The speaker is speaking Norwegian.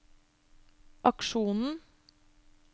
aksjonen